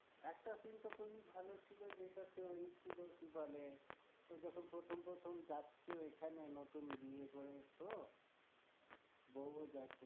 একটা scene টা খুবিই ভালো ছিলো যেটাতে ওই ছিলো কি বলে ও যখন প্রথম প্রথম যাচ্ছে ওইখানে নতুন বিয়ে করে তো বউ ও যাচ্ছে